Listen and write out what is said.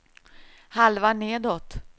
halva nedåt